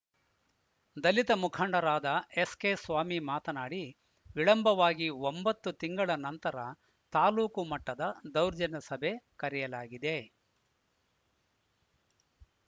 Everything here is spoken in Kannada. ದಲಿತ ಮುಖಂಡರಾದ ಎಸ್‌ಕೆಸ್ವಾಮಿ ಮಾತನಾಡಿ ವಿಳಂಬವಾಗಿ ಒಂಬತ್ತು ತಿಂಗಳ ನಂತರ ತಾಲೂಕು ಮಟ್ಟದ ದೌರ್ಜನ್ಯ ಸಭೆ ಕರೆಯಲಾಗಿದೆ